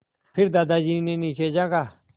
फिर दादाजी ने नीचे झाँका